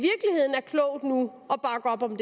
gang